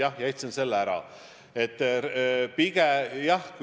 Jah, ma jätan selle ära.